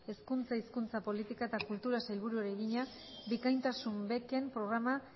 hezkuntza hizkuntza politika eta kulturako sailburuari egina bikaintasun beken programa